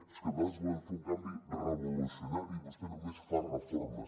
és que nosaltres volem fer un canvi revolucionari i vostè només fa reformes